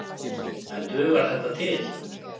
En dugar þetta til?